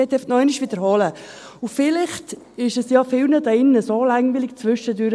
Ich möchte noch einmal wiederholen, und vielleicht ist es ja vielen langweilig zwischendurch: